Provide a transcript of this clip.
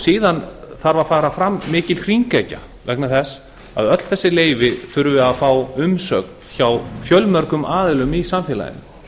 síðan þarf að fara fram mikil hringekja vegna þess að öll þessi leyfi þurfa að fá umsögn hjá fjölmörgum aðilum í samfélaginu